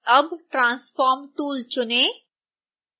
अब transform tool चुनें